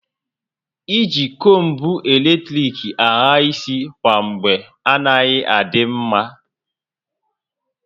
I ji kombu eletrik ahà isi kwa mgbe anaghị adị mma